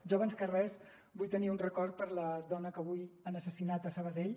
jo abans que res vull tenir un record per a la dona que avui han assassinat a sabadell